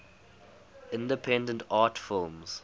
independent art films